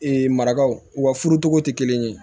marakaw wa furu cogo tɛ kelen ye